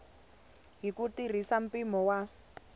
hi ku tirhisa mpimo wa